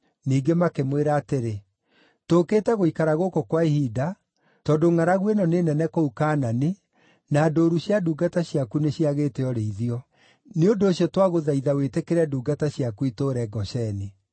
Ningĩ makĩmwĩra atĩrĩ, “Tũũkĩte gũikara gũkũ kwa ihinda, tondũ ngʼaragu ĩno nĩ nene kũu Kaanani, na ndũũru cia ndungata ciaku nĩ ciagĩte ũrĩithio. Nĩ ũndũ ũcio twagũthaitha wĩtĩkĩrie ndungata ciaku itũũre Gosheni.”